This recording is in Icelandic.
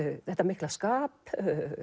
þetta mikla skap